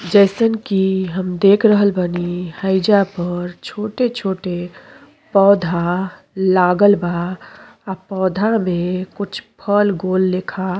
जईसन कि हम देख रहल बानी हैजा पर छोटे-छोटे पौधा लागला बा आ पौधा में कुछ फल गोल लेखा --